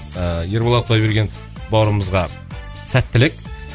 ыыы ерболат құдайбергенов бауырымызға сәттілік